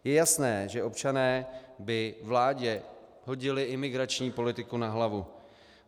Je jasné, že občané by vládě hodili imigrační politiku na hlavu.